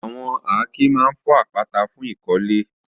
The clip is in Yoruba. Àwọn àáké máa ń fọ́ àpáta fún ìkọ́lé.